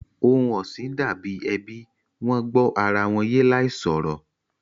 Ohun ọ̀sìn dà bí ẹbí, Wọ́n gbó ara wọn yé láì sọ̀rọ̀